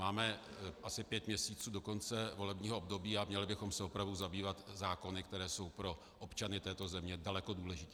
Máme asi pět měsíců do konce volebního období a měli bychom se opravdu zabývat zákony, které jsou pro občany této země daleko důležitější.